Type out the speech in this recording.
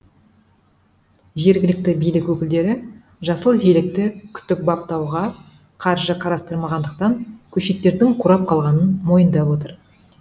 жергілікті билік өкілдері жасыл желекті күтіп баптауға қаржы қарастырмағандықтан көшеттердің қурап қалғанын мойындап отыр